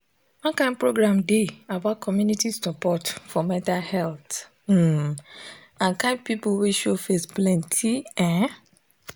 one kind program dey about community support for mental health um and kind people wey show face plenty ehh